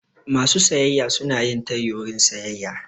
Masu sayayya suna yin tayi wurin sayayya.